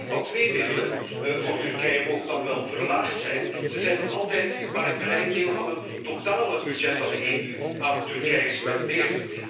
De IPA II middelen voor Turkije mogen dan wel verlaagd zijn, ze zijn nog altijd maar een klein deel van het totale budget dat de EU aan Turkije spendeert.